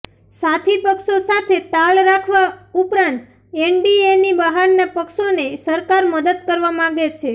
સાથી પક્ષો સાથે તાલ રાખવા ઉપરાંત એનડીએની બહારના પક્ષોને સરકાર મદદ કરવા માંગે છે